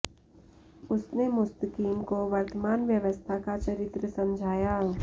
उसने मुस्तकीम को वर्तमान व्यवस्था का चरित्र समझाया